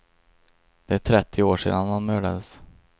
Det är trettio år sedan han mördades.